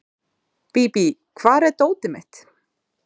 Bíbí, hvar er dótið mitt?